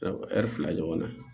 fila ɲɔgɔnna